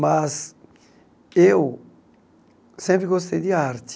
Mas eu sempre gostei de arte.